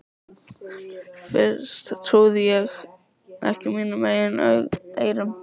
Fyrst trúði ég ekki mínum eigin eyrum.